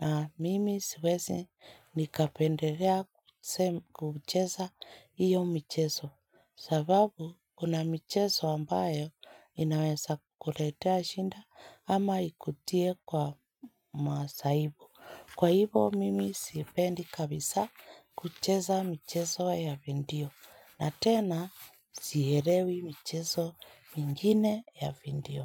na mimi siwezi nikapendelea kucheza hiyo michezo. Sababu kuna michezo ambayo inaweza kuletea shida ama ikutie kwa masaibu. Kwa hivyo mimi sipendi kabisa kucheza michezo ya video na tena sielewi mchezo mingine ya video.